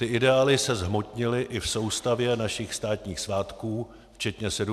Ty ideály se zhmotnily i v soustavě našich státních svátků včetně 17. listopadu.